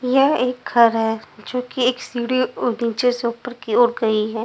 यह एक घर है जोकि एक सीढ़ी नीचे से ऊपर की ओर गई है।